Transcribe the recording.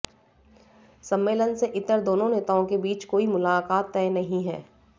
सम्मेलन से इतर दोनों नेताओं के बीच कोई मुलाकात तय नहीं है